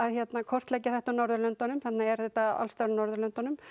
kortleggja þetta á Norðurlöndunum þannig er þetta allstaðar á Norðurlöndunum